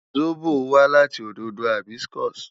Zobo wa lati ododo hibiscus